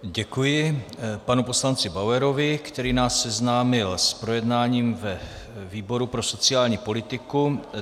Děkuji panu poslanci Bauerovi, který nás seznámil s projednáním ve výboru pro sociální politiku.